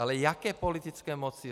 Ale jaké politické moci?